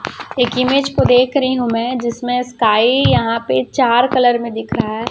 एक इमेज को देख रही हूं मैं जिसमें स्काई यहां पे चार कलर में दिख रहा है।